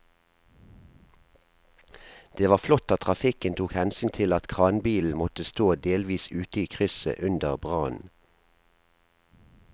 Det var flott at trafikken tok hensyn til at kranbilen måtte stå delvis ute i krysset under brannen.